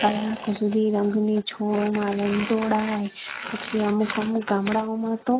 કલાકો સુધી રંગની એ પછી અમુક અમુક ગામડાઓ માં તો